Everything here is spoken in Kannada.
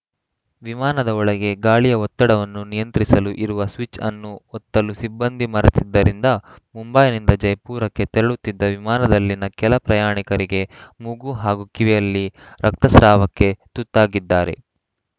ವಿಮಾನದ ಒಳಗೆ ಗಾಳಿಯ ಒತ್ತಡವನ್ನು ನಿಯಂತ್ರಿಸಲು ಇರುವ ಸ್ವಿಚ್‌ ಅನ್ನು ಒತ್ತಲು ಸಿಬ್ಬಂದಿ ಮರೆತಿದ್ದರಿಂದ ಮುಂಬೈನಿಂದ ಜೈಪುರಕ್ಕೆ ತೆರಳುತ್ತಿದ್ದ ವಿಮಾನದಲ್ಲಿನ ಕೆಲ ಪ್ರಯಾಣಿಕರಿಗೆ ಮೂಗು ಹಾಗೂ ಕಿವಿಯಲ್ಲಿ ರಕ್ತ ಸ್ರಾವಕ್ಕೆ ತುತ್ತಾಗಿದ್ದಾರೆ